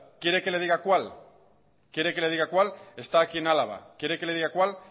quiere que le diga cuál está aquí en álava quiere que le diga cuál